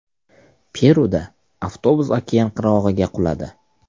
Peruda avtobus okean qirg‘og‘iga quladi.